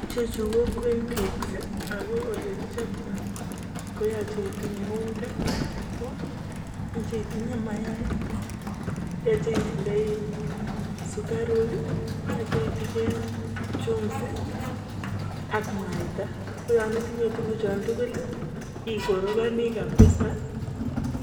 ichechu ko queencakes aku ole kichoptoi ko yache itinye unga ya chapo, yache itinye mayai, yache itindoi sikaruk, yache itinye chumvi, ak mwaita ko yan itinye tukuchu tugul ikorogani kabisa